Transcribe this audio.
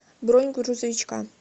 бронь грузовичка